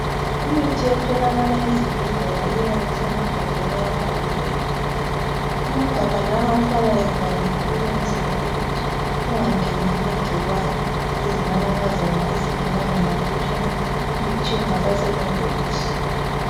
Imithi etholakala ezibhedlela iyabe isemagabheni abhaliweyo amagabha lawa ahlala evaliwe ukwenzela ukuthi kungangeni amagcikwane lezinanakazana ezingabangela ukuthi umuthi ungasasebenzi kuhle.